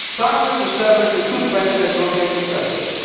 Cyprus established a good record as rotating president.